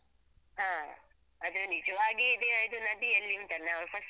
ಹಾ ಅದು ನಿಜವಾಗಿ ಇದೇ ಇದು ನದಿಯಲ್ಲಿ ಉಂಟಲ್ಲ ನಾವು first ಗೆ ಸ್ನಾನ.